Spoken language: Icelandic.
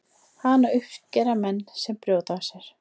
Hana uppskera menn sem brjóta af sér.